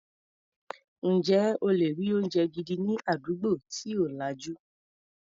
Ǹjẹ́ o lè rí oúnjẹ gidi ní àdúgbò tí ò lajú.